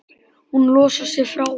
Hún losar sig frá honum.